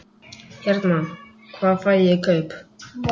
Hérna. hvað fæ ég í kaup?